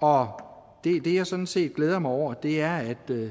og det jeg sådan set glæder mig over er at